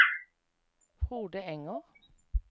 Frode Enger